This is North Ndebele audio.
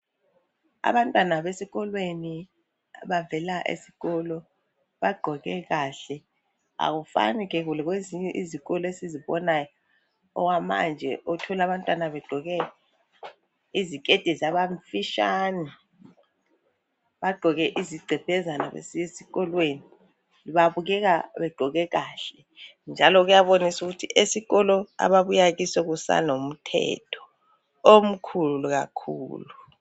Abantwana besikolweni bavela esikolo bagqoke kahle akufani ke lokwezinye izikolo esikubonayo okumanje othola abantwana begqoke iziketi zabamfitshane bagqoke izigcebhezana besiya esikolweni babukeka begqoke kahle njalo kuyabonisa ukuthi esikolo ababuya kiso kusalomthetho omkhulu kakhulu.